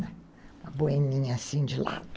Uma boininha assim de lado.